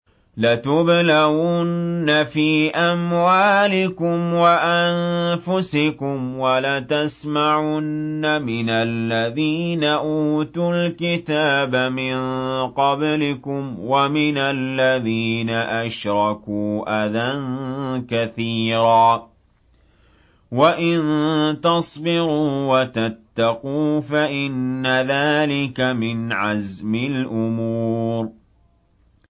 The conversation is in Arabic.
۞ لَتُبْلَوُنَّ فِي أَمْوَالِكُمْ وَأَنفُسِكُمْ وَلَتَسْمَعُنَّ مِنَ الَّذِينَ أُوتُوا الْكِتَابَ مِن قَبْلِكُمْ وَمِنَ الَّذِينَ أَشْرَكُوا أَذًى كَثِيرًا ۚ وَإِن تَصْبِرُوا وَتَتَّقُوا فَإِنَّ ذَٰلِكَ مِنْ عَزْمِ الْأُمُورِ